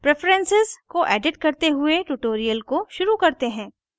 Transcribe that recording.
preferences को edit करते हुए tutorial को शुरू करते हैं